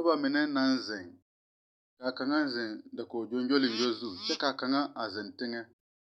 Nobɔ mine naŋ zeŋ kaa kaŋa zeŋ dakog gyongyoliŋgyo zu kyɛ kaa kaŋa a zeŋ teŋɛ